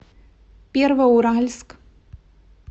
первоуральск